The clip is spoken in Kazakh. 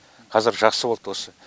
қазір жақсы болды осы